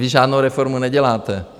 Vy žádnou reformu neděláte.